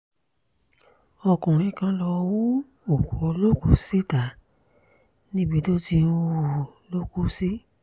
ọkùnrin kan lọ́ọ́ hu òkú olókùú si ta níbi tó ti ń ń hù ú ló kù sí